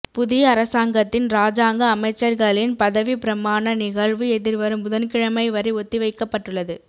புதிய அரசாங்கத்தின் இராஜாங்க அமைச்சர்களின் பதவிப்பிரமாண நிகழ்வு எதிர்வரும் புதன்கிழமை வரை ஒத்திவைக்கப்பட்டுள்ளது